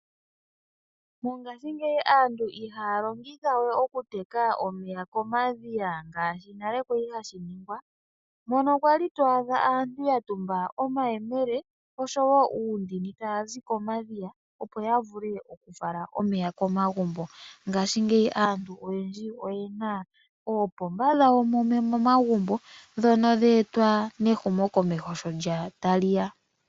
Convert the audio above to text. Mongashingeyi aantu ihaya longitha we okuteka omeya komadhiya ngaashi nale kwa li hashi ningwa, mono wa li to adha aantu ya tumba omayemele oshowo uundini taya zi komadhiya, opo ya vule okufala omeya komagumbo. Ngaashingeyi aantu oyendji oye na oopomba dhawo momagumbo ndhono dhe etwa kehumokomeho sho tali ya.